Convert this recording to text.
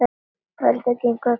Hörður kinkaði kolli.